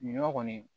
Ɲɔ kɔni